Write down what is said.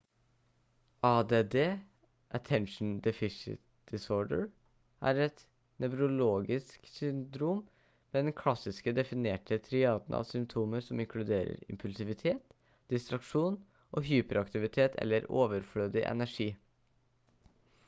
add attention deficit disorder «er et nevrologisk syndrom med den klassisk definerte triaden av symptomer som inkluderer impulsivitet distraksjon og hyperaktivitet eller overflødig energi»